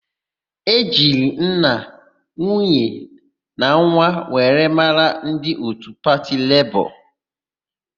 E jiri nna, nwunye na nwa were mara ndị òtù pati Lebọọ.